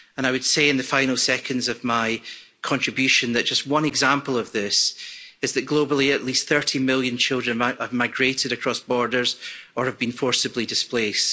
I would say, in the final seconds of my contribution, that just one example of this is that, globally, at least 30 million children have migrated across borders or have been forcibly displaced.